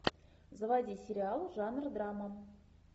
заводи сериал жанр драма